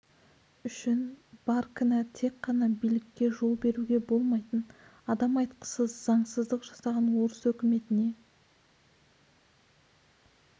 үшін бар кінә тек қана билікке жол беруге болмайтын адам айтқысыз заңсыздық жасаған орыс өкіметіне